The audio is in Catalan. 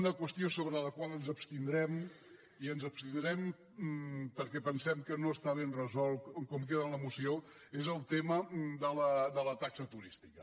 una qüestió sobre la qual ens abstindrem i ens hi abstindrem perquè pensem que no està ben resolta tal com queda en la moció és el tema de la taxa turística